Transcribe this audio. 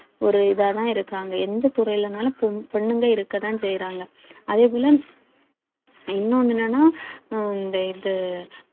ஒரு இதாதான் இருக்காங்க எந்த துறையிலனாலும் பொண்~ பொண்ணுங்க இருக்கத்தான் செய்யறாங்க அதே போல இன்னொன்னு என்னன்னா உம் இந்த இது